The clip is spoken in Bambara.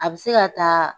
A bɛ se ka taa